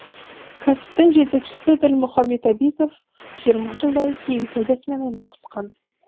кәсіптің жетекшісі ділмұхамед абизов жиырма жылдай киім саудасымен айналысқан